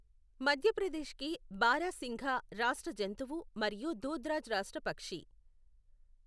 మధ్యప్రదేశ్ కి బారాసింఘా రాష్ట్ర జంతువు మరియు దూధ్రాజ్ రాష్ట్ర పక్షి.